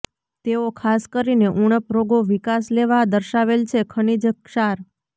તેઓ ખાસ કરીને ઉણપ રોગો વિકાસ લેવા દર્શાવેલ છે ખનિજ ક્ષાર